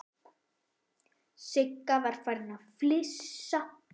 Sigga var farin að flissa.